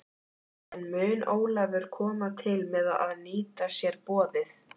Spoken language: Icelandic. En mun Ólafur koma til með að nýta sér borðið?